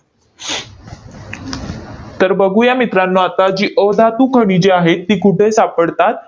तर बघूया मित्रांनो आता जी अधातू खनिजे आहेत, ती कुठे सापडतात